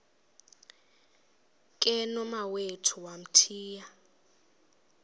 ke nomawethu wamthiya